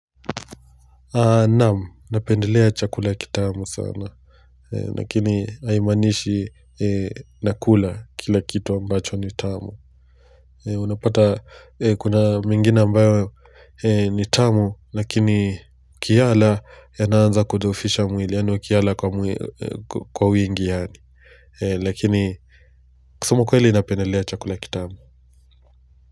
Naamu, napendelea chakula kitamu sana. Lakini haimaanishi nakula kila kitu ambacho ni tamu. Unapata kuna mengine ambayo ni tamu, lakini ukiyala yanaanza kudhoofisha mwili, yaani ukiyala kwa wingi yaani. Lakini, kusema ukwele napendelea chakula kitamu.